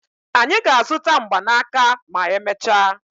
Anyị ga-azụta mgbanaka ma emechaa.